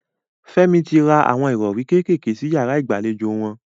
Fẹ́mi ti ra awọn ìrọrí kékèké sí yàrá ìgbàlejò wọn.